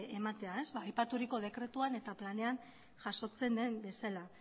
ematea aipaturiko dekretuan eta planean jasotzen den bezala